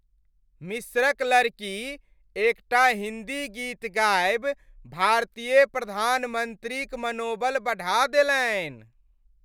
मिस्रक लड़की एकटा हिन्दी गीत गाबि भारतीय प्रधानमन्त्रीक मनोबल बढ़ा देलनि।